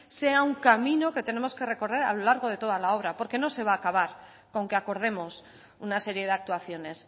sea un camino que tenemos que recorrer a lo largo de toda la obra porque no se va a acabar con que acordemos una serie de actuaciones